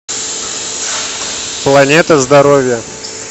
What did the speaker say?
планета здоровья